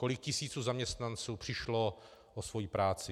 Kolik tisíc zaměstnanců přišlo o svoji práci?